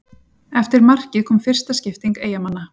Eftir markið kom fyrsta skipting Eyjamanna.